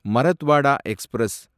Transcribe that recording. Marathwada express